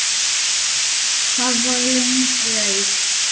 Það var löng leið.